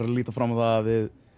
að líta fram á að